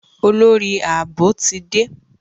Olórí Ààbò ti dé.